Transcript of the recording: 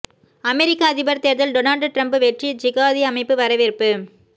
அமெரிக்க அதிபர் தேர்தல் Donald Trump வெற்றி ஜிகாதி அமைப்பு வரவேற்பு